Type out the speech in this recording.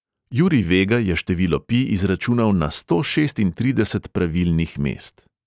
Jurij vega je število pi izračunal na sto šestintrideset pravilnih mest.